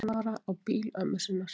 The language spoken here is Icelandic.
Sextán ára á bíl ömmu sinnar